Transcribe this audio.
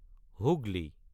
Hooghly